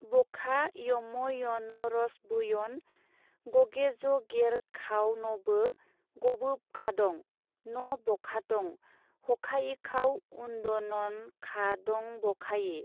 बखा यमयनरसबोयन गगेजगेरखावनबो गबोबखादं न'-बखादं हखायिखाव उन्दनखादंबखायि।